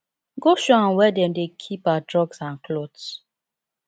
go show am where dem dey keep her drugs and cloths